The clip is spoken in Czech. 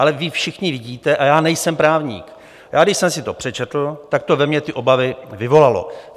Ale vy všichni vidíte, a já nejsem právník, já když jsem si to přečetl, tak to ve mně ty obavy vyvolalo.